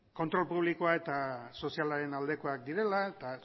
kontrol publikoa eta sozialaren aldekoak direla eta